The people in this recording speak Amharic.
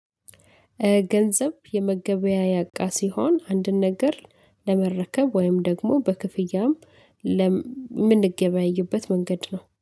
ገንዘብ የመገበያያ እቃ ሲሆን አንድን ነገር ለመረከብ ወይም ደግሞ በክፍያም ለም ምንገበያይበት መንገድ ነው።